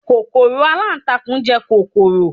kòkòrò alantakun je kọkọrọ